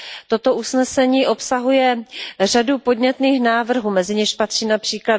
Toto usnesení obsahuje řadu podnětných návrhů, mezi něž patří např.